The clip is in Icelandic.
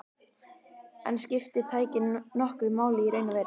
En skiptir tæknin nokkru máli í raun og veru?